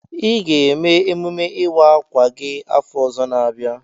I ga-eme emume ịwa akwa gị afọ ọzọ n'abia.